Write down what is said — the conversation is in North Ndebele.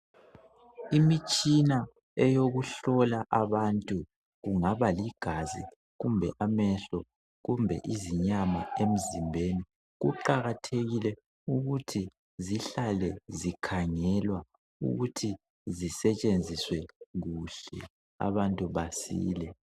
Imitshina eyokuhlola abantu kungaba ligazi kumbe amehlo kumbe izinyama emzimbeni kuqakathekile ukuthi zihlale zikhangelwa ukuthi zisetshenziswe kuhle abantu basile.